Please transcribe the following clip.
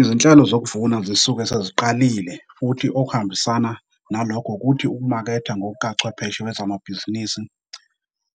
Izinhlelo zokuvuna zisuke seziqalile futhi okuhambisana nalokho ukuthi ukumaketha ngokukachwepheshe wezamabhizinisi,